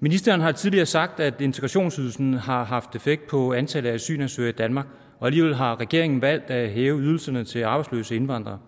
ministeren har tidligere sagt at integrationsydelsen har haft en effekt på antallet af asylansøgere i danmark og alligevel har regeringen valgt at hæve ydelserne til arbejdsløse indvandrere